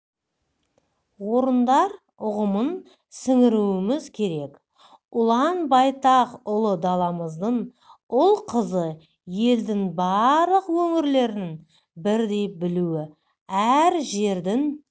орындар ұғымын сіңіруіміз керек ұлан-байтақ ұлы даламыздың ұл-қызы елдің барлық өңірлерін бірдей білуі әр жердің